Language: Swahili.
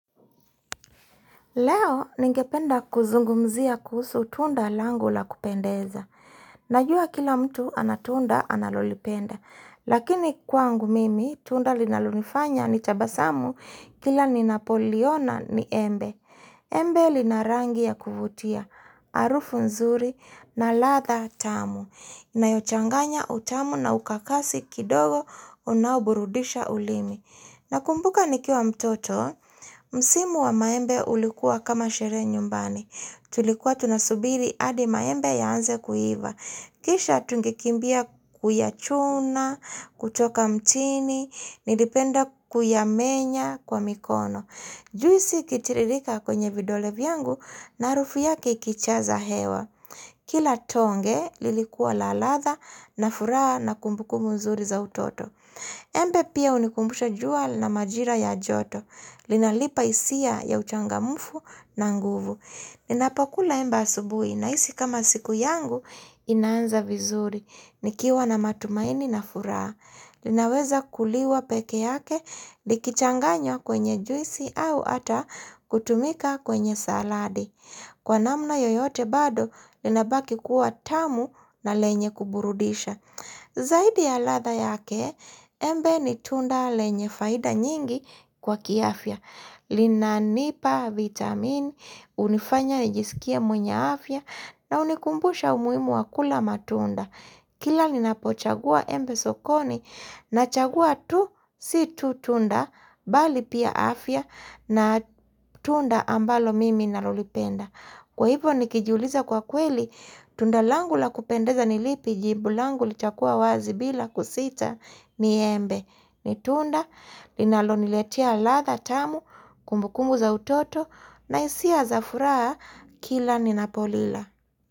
Leo ningependa kuzungumzia kuhusu tunda langu la kupendeza. Najua kila mtu ana tunda analolipenda. Lakini kwangu mimi, tunda linalonifanya ni tabasamu kila ninapoliona ni embe. Embe lina rangi ya kuvutia, harufu nzuri na ladha tamu. Na yachanganya utamu na ukakasi kidogo unaoburudisha ulimi. Nakumbuka nikiwa mtoto, msimu wa maembe ulikuwa kama sherehe nyumbani. Tulikuwa tunasubiri adi maembe yaanze kuiva. Kisha tungekimbia kuyachuna, kutoka mtini, nilipenda kuyamenya kwa mikono. Juisi ikitiririka kwenye vidole vyangu na harufu yake ikijaza hewa. Kila tonge lilikua la latha na furaha na kumbukumbu mzuri za utoto. Embe pia unikumbusha jua la majira ya joto. Linanipa hisia ya uchangamfu na nguvu. Ninapokula embe asubuhi, nahisi kama siku yangu inanza vizuri. Nikiwa na matumaini na furaa. Linaweza kuliwa peke yake, likichanganywa kwenye juisi au ata kutumika kwenye saladi. Kwa namna yoyote bado, linabaki kuwa tamu na lenye kuburudisha. Zaidi ya latha yake, embe ni tunda lenye faida nyingi kwa kiafya. Linanipa vitamini, unifanya nijisikia mwenye afya, na unikumbusha umuhimu wa kula matunda. Kila ninapochagua embe sokoni, nachagua tu si tu tunda bali pia afya na tunda ambalo mimi nalolipenda. Kwa hivyo nikijiuliza kwa kweli tunda langu la kupendeza ni lipi? Jibu langu litakua wazi bila kusita ni embe. Ni tunda linaloniletia latha tamu, kumbukumu za utoto na hisia za furaha kila ninapolila.